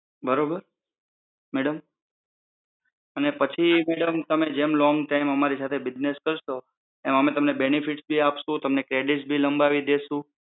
બરોબર? madam અને પછી તમ તમે જેમ long time અમારી સાથે business કરશો એમ અમે તમને benefits ભી આપશું તો તમને credits ભી લંબાવી દેશું